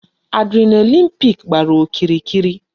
Adrenaline peak gbàrà okirikiri